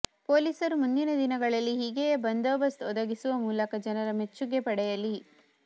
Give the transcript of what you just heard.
ಪೊಲೀಸರು ಮುಂದಿನ ದಿನಗಳಲ್ಲಿ ಹೀಗೆಯೇ ಬಂದೋಬಸ್ತ್ ಒದಗಿಸುವ ಮೂಲಕ ಜನರ ಮೆಚ್ಚುಗೆ ಪಡೆಯಲಿ